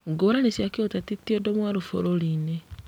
Ngũrani cia kĩũteti ti ũndũ mwerũ bũrũrinĩ